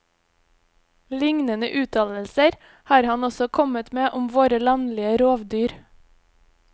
Lignende uttalelser har han også kommet med om våre landlige rovdyr.